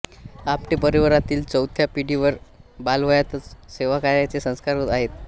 आमटे परिवारातील चौथ्या पिढीवर बालवयातच सेवाकार्याचे संस्कार होत आहेत